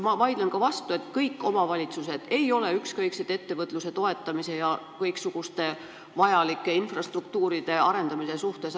Ma vaidlen ka vastu: kõik omavalitsused ei ole ükskõiksed ettevõtluse toetamise ja kõiksuguste vajalike infrastruktuuride arendamise suhtes.